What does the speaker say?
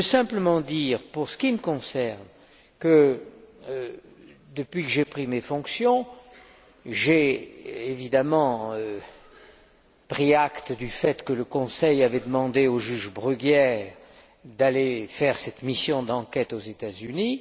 Je veux simplement dire, pour ce qui me concerne, que depuis que j'ai pris mes fonctions, j'ai évidemment pris acte du fait que le Conseil avait demandé au juge Bruguière d'aller effectuer cette mission d'enquête aux États Unis.